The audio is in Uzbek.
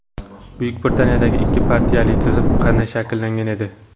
Buyuk Britaniyadagi ikki partiyali tizim qanday shakllangan edi?.